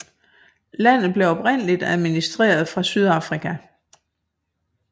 Landet blev oprindeligt administreret fra Sydafrika